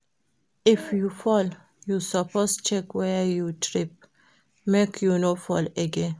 If you fall, you suppose check where you trip, make you no fall again.